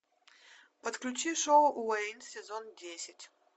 подключи шоу уэйн сезон десять